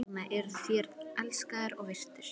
Þess vegna eruð þér elskaður og virtur.